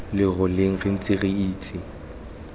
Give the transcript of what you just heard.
leroleng re ntse re itse